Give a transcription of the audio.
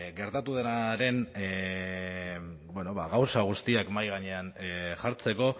gertatu denaren bueno ba gauza guztiak mahai gainean jartzeko